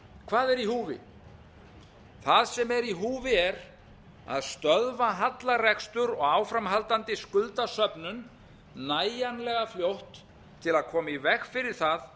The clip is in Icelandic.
hvað er í húfi það sem er í húfi er að stöðva hallarekstur og áframhaldandi skuldasöfnun nægjanlega fljótt til að koma í veg fyrir það að